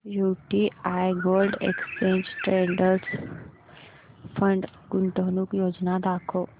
UTI gold exchange traded fund गुंतवणूक योजना दाखव